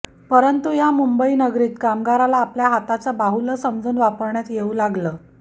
परंतु ह्या मुंबईनगरीत कामगाराला आपल्या हातचं बाहुलं समजून वापरण्यात येऊ लागलं